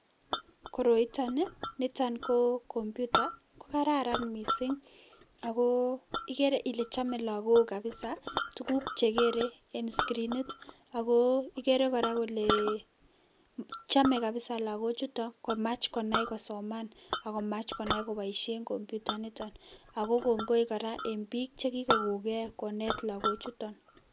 Koroiton Ii, niton koo computer kokararan mising ako ikere Ile chome Lagok kabiza tuguk che kere en skrinit akoo ikere kora kolee chome kabiza Lagok chuto komach konai kosoman, akomach Konai koboisien computer niton ako kongoi kora enn bik che kikokongee konet Lagochuton.